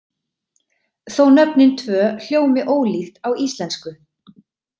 Þó nöfnin tvö hljómi ólíkt á íslensku.